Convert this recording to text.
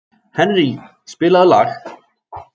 Henrý, spilaðu lag.